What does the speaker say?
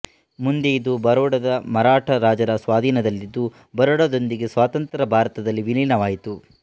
ಮುಂದೆ ಇದು ಬರೋಡದ ಮರಾಠಾ ರಾಜರ ಸ್ವಾಧೀನದಲ್ಲಿದ್ದು ಬರೋಡದೊಂದಿಗೆ ಸ್ವತಂತ್ರ ಭಾರತದಲ್ಲಿ ವಿಲೀನವಾಯಿತು